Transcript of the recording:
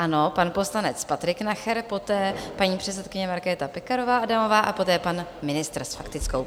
Ano, pan poslanec Patrik Nacher, poté paní předsedkyně Markéta Pekarová Adamová a poté pan ministr s faktickou.